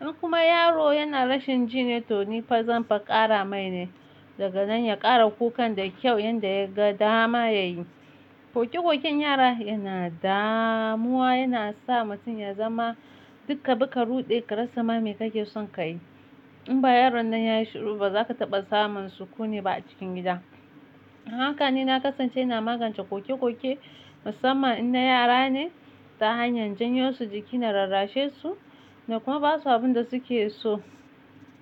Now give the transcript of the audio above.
In kuma yaro yana rashin jini, to ni fa zanfa kara mai ne. Daga nan ya kara kukan da kyau yanda ya ga dama ya yi. Ƙoƙe-ƙoƙen yara yana damuwa, yana sa mutum ya zama duk kabi ka ruɗe karasama me kake son ka yi. In ba yaron nan ya yi shiru ba, za ka taɓa samun sukuni ba a cikin gida. Haka ne na kasance na magance ƙoƙe-ƙoƙe musamman in na yara ne ta hanyar janyo su jiki na lallashe su na kuma basu abun da suke so.